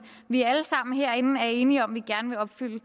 vi alle sammen herinde er enige om vi gerne vil opfylde